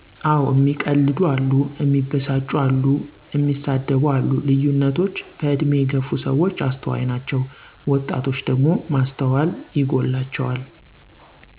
አወ እሚቀልዱ አሉ፣ እሚበሳጩ አሉ፣ እንደሳደብ አሉ ልዩነቶች በእድሜ የገፍ ሰዎች አስተዋይ ናችው ወጣቶች ደግሞ ማስተዋል ይጎላቸዋል።